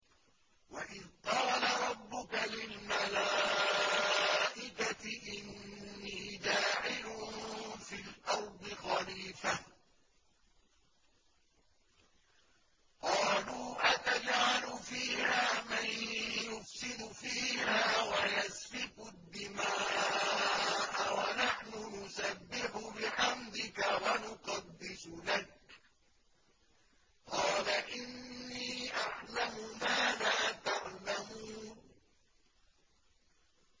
وَإِذْ قَالَ رَبُّكَ لِلْمَلَائِكَةِ إِنِّي جَاعِلٌ فِي الْأَرْضِ خَلِيفَةً ۖ قَالُوا أَتَجْعَلُ فِيهَا مَن يُفْسِدُ فِيهَا وَيَسْفِكُ الدِّمَاءَ وَنَحْنُ نُسَبِّحُ بِحَمْدِكَ وَنُقَدِّسُ لَكَ ۖ قَالَ إِنِّي أَعْلَمُ مَا لَا تَعْلَمُونَ